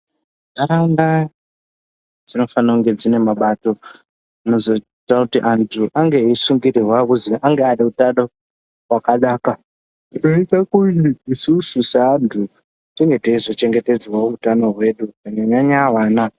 Ntaraunda dzinofana kunge dzinemabato anozoita kuti antu ange eyisungirirwa kuzi ange aneutano hwakanaka, zvinoyita kuti isusu seantu tinge teyizochengetedzwawo utano hwedu kunyanya-nyanya wana.